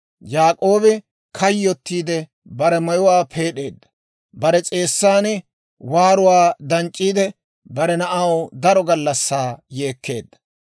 Yaak'oobi kayyottiidde, bare mayuwaa peed'eedda; bare s'eessan waaruwaa danc'c'iidde, bare na'aw daro gallassaa yeekkeedda.